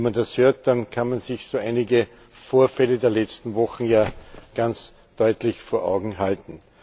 Wenn man das hört, kann man sich so einige Vorfälle der letzten Wochen ja ganz deutlich vor Augen halten.